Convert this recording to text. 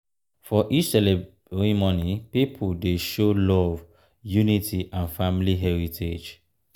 for each ceremony pipo dey show love unity and family heritage.